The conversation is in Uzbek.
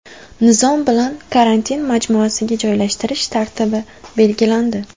Nizom bilan karantin majmuasiga joylashtirish tartibi belgilandi.